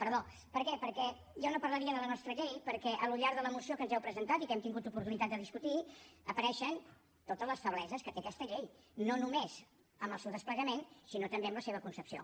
per què perquè jo no parlaria de la nostra llei perquè al llarg de la moció que ens heu presentat i que hem tingut oportunitat de discutir apareixen totes les febleses que té aquesta llei no només en el seu desplegament sinó també en la seva concepció